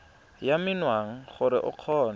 ya menwana gore o kgone